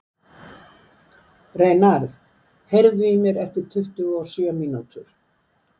Reynarð, heyrðu í mér eftir tuttugu og sjö mínútur.